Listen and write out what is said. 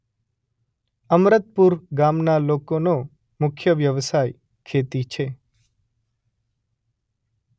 અમરતપુર ગામના લોકોનો મુખ્ય વ્યવસાય ખેતી છે.